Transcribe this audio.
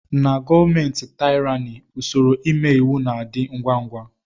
Na gọọmenti taịrani usoro ime iwu na - adị ngwá ngwá.